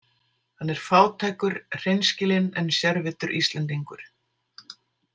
Hann er fátækur, hreinskilinn en sérvitur Íslendingur.